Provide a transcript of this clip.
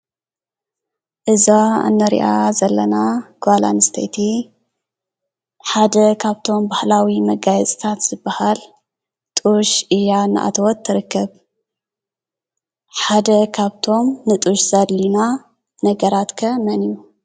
እዛ ንሪኣ ዘለና ጓል ኣንስተይቲ ሓደ ካብቶም ባህላዊ መጋየፂታት ዝበሃል ጡሽ እያ እናኣተወት ትርከብ። ሓደ ካብቶም ንጡሽ ዘድልዩና ነገራት ከ መን እዩ?